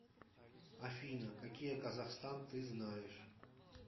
афина какие казахстан ты знаешь